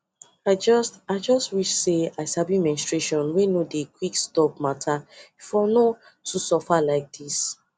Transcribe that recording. i just i just wish say i sabi menstruation wey no dey quick stop matteri for no too suffer like this